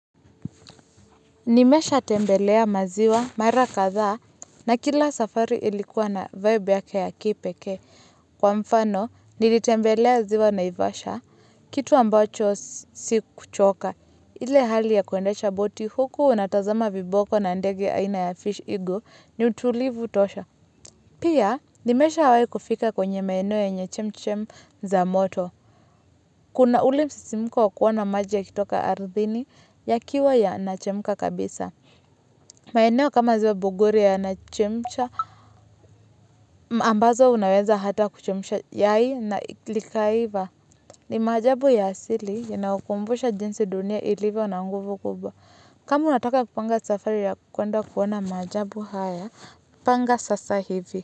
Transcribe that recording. Nimesha tembelea maziwa mara kadha na kila safari ilikuwa na vibe yake ya kipekee. Kwa mfano nilitembelea ziwa Naivasha kitu ambacho sikuchoka. Ile hali ya kuendesha boti huku unatazama viboko na ndege aina ya fish eagle ni utulivu tosha. Pia, nimeshawahi kufika kwenye maeneo yenye chemchem za moto. Kuna ule msisimuko wakuona maji yakitoka arthini ya kiwa ya nachemka kabisa. Maeneo kama ziwa Bogoria yana chemcha ambazo unaweza hata kuchemsha yai na likaiva. Ni maajabu ya asili inayokumbusha jinsi dunia ilivyo na nguvu kubwa. Kama unataka kupanga safari ya kwenda kuona maajabu haya, panga sasa hivi.